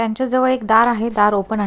त्यांच जवळ एक दार आहे दार ओपन आहे.